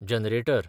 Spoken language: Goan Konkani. जॅनरेटर